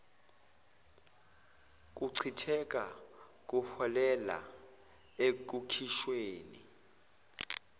kuchitheka kuholela ekukhishweni